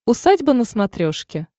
усадьба на смотрешке